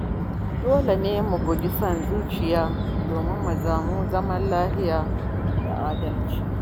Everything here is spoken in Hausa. Dole ne mu guji nuna son zuciya don samun zaman lafiya da adalci.